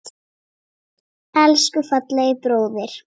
Elsku fallegi bróðir.